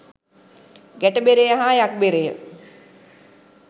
ගැට බෙරය හා යක් බෙරය